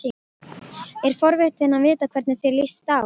Er forvitin að vita hvernig þér líst á.